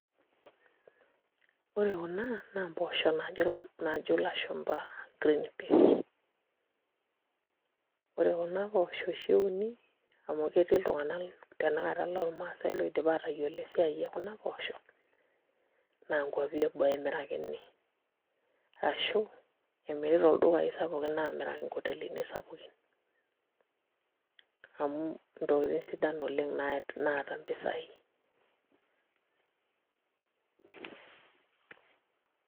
Ore kuna naa mpoosho naajo ilashumba green peas, ore kuna poosho oshi euni amu etii iltung'anak tanakata lormaasai oidipa aatayiolo tanakata esiai ekuna poosho naa nkuapi eboo emirakini ashu emiri toldukai sapukin aamiraki nkotelini sapukin amu ntokitin sidan oleng' naata mpisai.